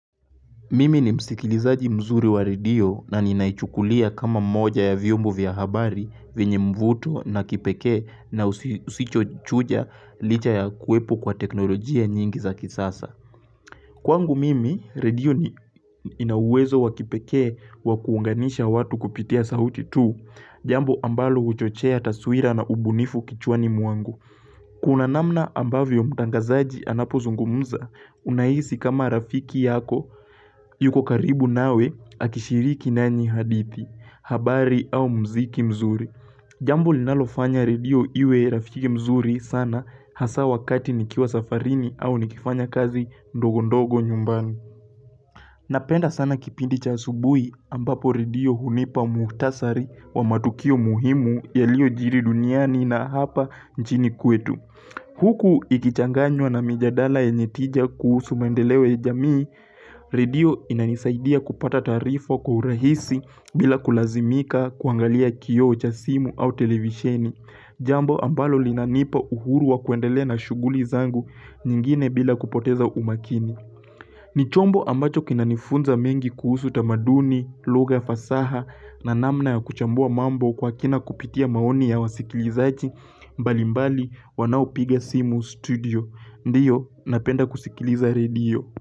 Mimi ni msikilizaji mzuri wa redio na ninaichukulia kama moja ya vyombo vya habari venye mvuto na kipeke na usichochuja licha ya kuepo kwa teknolojia nyingi za kisasa. Kwangu mimi, radio ni inawezo wa kipeke wa kuunganisha watu kupitia sauti tu, jambo ambalo uchochea taswira na ubunifu kichwani muangu. Kuna namna ambavyo mtangazaji anapozungumza unaisi kama rafiki yako yuko karibu nawe akishiriki nanyi hadithi, habari au mziki mzuri Jambu linalofanya redio iwe rafiki mzuri sana hasa wakati nikiwa safarini au nikifanya kazi ndogo ndogo nyumbani Napenda sana kipindi cha asubui ambapo redio hunipa muhtasari wa matukio muhimu yaliyo jiri duniani na hapa nchini kwetu Huku ikichanganywa na mijadala yenye tija kuhusu maendeleo ya jamii, redio inanisaidia kupata tarifa kwa urahisi bila kulazimika kuangalia kiyo cha simu au televisheni, jambo ambalo linanipa uhuru wa kuendelea na shuguli zangu nyingine bila kupoteza umakini. Ni chombo ambacho kinanifunza mengi kuhusu tamaduni, lugha fasaha na namna ya kuchambua mambo kwa kina kupitia maoni ya wasikilizaji, mbalimbali wanao piga simu studio. Ndiyo, napenda kusikiliza redio.